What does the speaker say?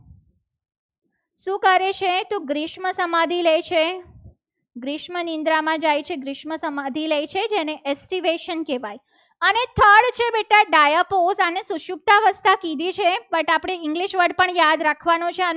ગ્રીસમ સમાધિ લે છે. ગ્રીસમાં નિંદ્રામાં જાય છે. ગ્રીસમ સમાધિ લે છે. જેને activation કહેવાય. અને third છે. બેટા dispose પોતાને સુસુખ્તા અવસ્થા કીધી છે. બટ આપણે english word પણ યાદ રાખવાનું છે.